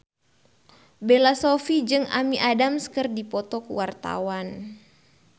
Bella Shofie jeung Amy Adams keur dipoto ku wartawan